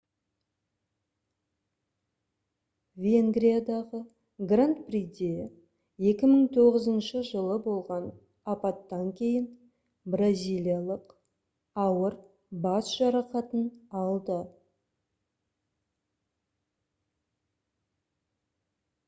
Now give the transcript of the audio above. венгриядағы гранд приде 2009 жылы болған апаттан кейін бразилиялық ауыр бас жарақатын алды